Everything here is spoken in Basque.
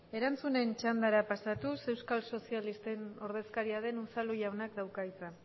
erantzunen txandara pasatuz euskal sozialisten ordezkaria den unzalu jaunak dauka hitza